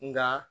Nka